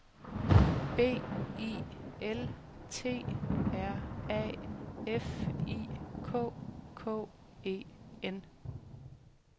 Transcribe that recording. B I L T R A F I K K E N